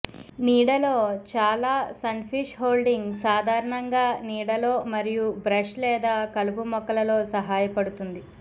నీడలో చాలా sunfish holding సాధారణంగా నీడలో మరియు బ్రష్ లేదా కలుపు మొక్కలలో సహాయపడుతుంది